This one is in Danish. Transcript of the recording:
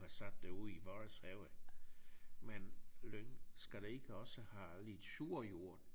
Har sat det ud i vores have men lyng skal det ikke også have lidt sur jord?